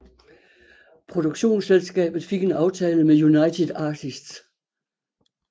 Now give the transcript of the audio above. Produktionsselskabet fik en aftale med United Artists